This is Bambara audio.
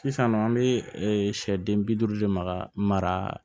Sisannɔɔ an be sɛ den bi duuru de maka mara